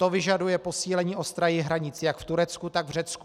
To vyžaduje posílení ostrahy hranic jak v Turecku, tak v Řecku.